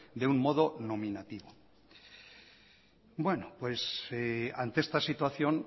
de un modo nominativo ante esta situación